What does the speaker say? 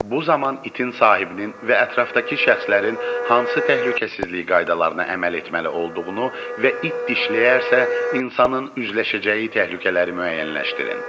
Bu zaman itin sahibinin və ətrafdakı şəxslərin hansı təhlükəsizlik qaydalarına əməl etməli olduğunu və it dişləyərsə insanın üzləşəcəyi təhlükələri müəyyənləşdirin.